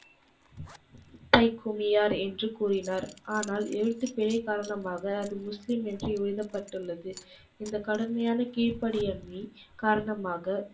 என்று கூறினார். ஆனால் எழுத்துப்பிழை காரணமாக அது முஸ்லீம் என்று எழுதப்பட்டுள்ளது. இந்தக் கடுமையான கீழ்ப்படியாமையை காரணமாக,